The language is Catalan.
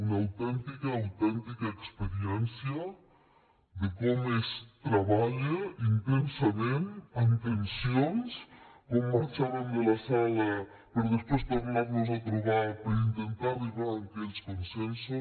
una autèntica autèntica experiència de com es treballa intensament amb tensions com marxàvem de la sala per després tornar nos a trobar per intentar arribar a aquells consensos